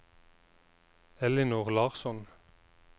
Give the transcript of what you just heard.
Ellinor Larsson